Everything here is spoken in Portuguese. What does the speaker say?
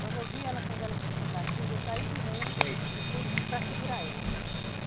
Quando eu vi ela, quando ela começou a dar crise, eu saí do remo e fui para segurar ela.